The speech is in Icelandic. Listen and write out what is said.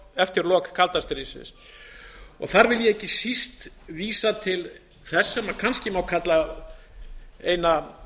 eftir lok kalda stríðsins þar vil ég ekki síst vísa til þess sem kannski má kalla eina